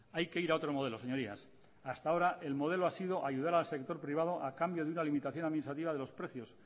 hay que ir a otro modelos señorías hasta ahora el modelo ha sido ayudar al sector privado a cambio de una limitación administrativa de los precios